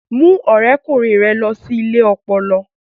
Mú ọ̀rẹ́kùnrin rẹ lọ sí ilé ọpọlọ